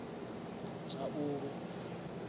tshaulu